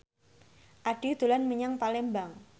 Addie dolan menyang Palembang